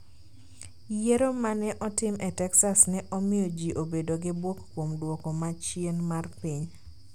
Yiero ma ne otim e Texas ne omiyo ji obedo gi bwok kuom duoko ma chien mar piny